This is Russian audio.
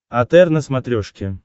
отр на смотрешке